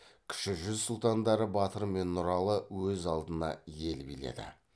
кіші жүз сұлтандары батыр мен нұралы өз алдына ел биледі